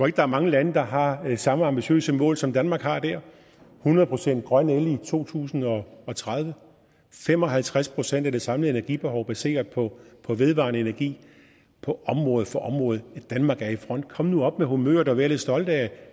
at der er mange lande der har samme ambitiøse mål som danmark har der hundrede procent grøn el i to tusind og tredive fem og halvtreds procent af det samlede energibehov baseret på på vedvarende energi på område for område danmark er i front kom nu op med humøret og vær lidt stolt af